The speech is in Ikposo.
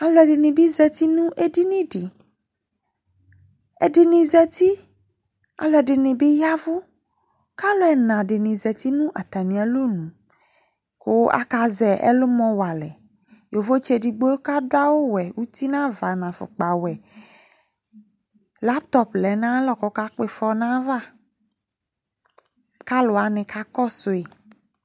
Alu ɛdini bi za uti nu edini di ɛdini za uti alu ɛdini bi ya ɛvu ku alu ɛna dini za uti nu atami alɔnu ku akazɛ ɛlumɔ wa alɛ Yovotsi edigbo kadu awu ɔwɛ uti nu ava nu afɔkpa ɔwɛ latɔ ɔvlɛ nu ayu aɣla ku ɔka kpɔ ifɔ nu aya va ku aluwani kakɔsu yi